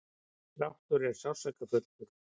dráttur er sársaukafullur.